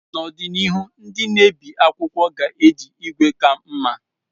N'ọdịnihu, ndị na-ebi akwụkwọ ga-eji igwe ka mma.